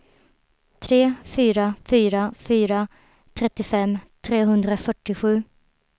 tre fyra fyra fyra trettiofem trehundrafyrtiosju